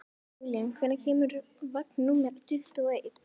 Júlían, hvenær kemur vagn númer tuttugu og eitt?